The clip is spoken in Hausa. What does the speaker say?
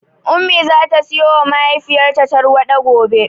Ummi zata siyowa mahaifiyarta tarwaɗa gobe.